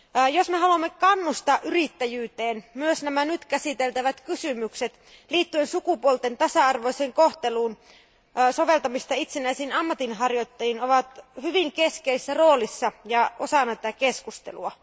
Jos me haluamme kannustaa yrittäjyyteen, myös nämä nyt käsiteltävät kysymykset sukupuolten tasa arvoisen kohtelun soveltamisesta itsenäisiin ammatinharjoittajiin ovat hyvin keskeisessä roolissa ja osa tätä keskustelua.